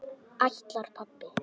Ætlar pabbi?